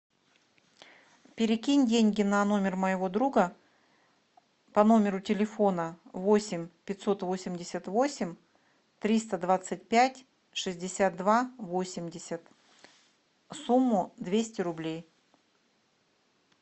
перекинь деньги на номер моего друга по номеру телефона восемь пятьсот восемьдесят восемь триста двадцать пять шестьдесят два восемьдесят сумму двести рублей